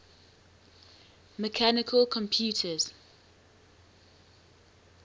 mechanical computers